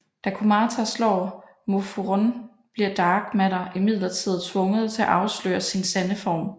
Da Kumata slår Mofurun bliver Dark Matter imidlertid tvunget til at afsløre sin sande form